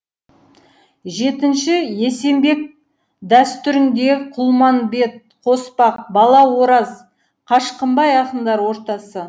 жетінші есенбек дәстүрінде құлманбет қоспақ бала ораз қашқынбай ақындар ортасы